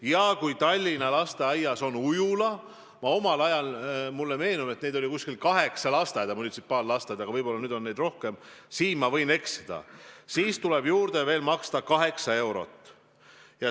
Ja kui Tallinna lasteaias on ujula – mulle meenub, et omal ajal oli kaheksa sellist munitsipaallasteaeda, võib-olla nüüd on neid rohkem, siin ma võin eksida –, siis tuleb juurde maksta veel 8 eurot.